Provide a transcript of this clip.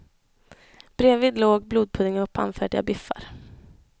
Bredvid låg blodpudding och pannfärdiga biffar.